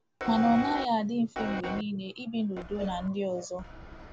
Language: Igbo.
Ma ọ naghị adị mfe mgbe niile ibi n’udo na ndị ọzọ.